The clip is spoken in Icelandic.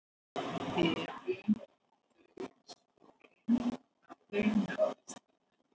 Eru þau svo grimm að þau ráðist á menn?